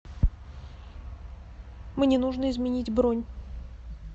мне нужно изменить бронь